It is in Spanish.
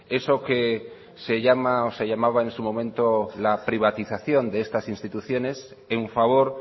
eso que se llama o se llamaba en su momento la privatización de estas instituciones en favor